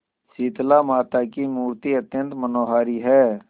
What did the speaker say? शीतलामाता की मूर्ति अत्यंत मनोहारी है